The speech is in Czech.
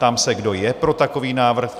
Ptám se, kdo je pro takový návrh?